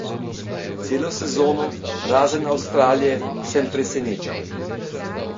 Celo sezono, razen Avstralije, sem presenečal.